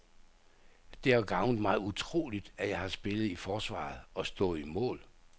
Det har gavnet mig utroligt, at jeg har spillet i forsvaret og stået i mål.